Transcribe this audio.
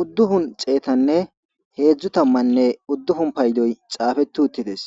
udupun xeetane hezu tamane udupuni paydoy xaapeti uttides